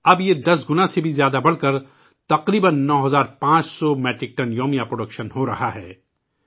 اب 10 گنا سے بھی زیادہ بڑھ کر، اس کی پیداوار تقریبا 9500 میٹرک ٹن ہو رہی ہے